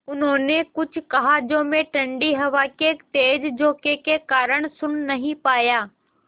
उन्होंने कुछ कहा जो मैं ठण्डी हवा के तेज़ झोंके के कारण सुन नहीं पाया